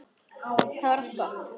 Þá er allt gott.